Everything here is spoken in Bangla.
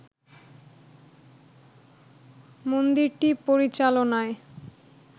মন্দিরটি পরিচালনায়